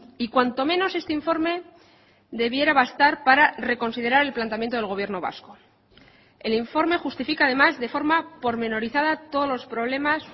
y cuanto menos este informe debiera bastar para reconsiderar el planteamiento del gobierno vasco el informe justifica además de forma pormenorizada todos los problemas